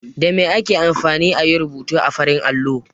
Da me ake amfani a yi rubutu a farin allo?